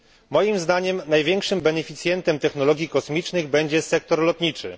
Moim zdaniem największym beneficjentem technologii kosmicznych będzie sektor lotniczy.